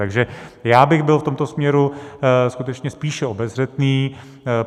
Takže já bych byl v tomto směru skutečně spíše obezřetný.